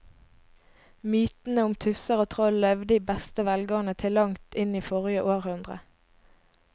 Mytene om tusser og troll levde i beste velgående til langt inn i forrige århundre.